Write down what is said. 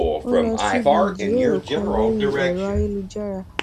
ó lọ síbi ìjíròrò kan lórí ẹrọ ayélujára